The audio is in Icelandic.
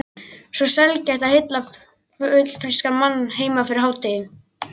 Svo sjaldgæft að hitta fullfrískan karlmann heima fyrir hádegi.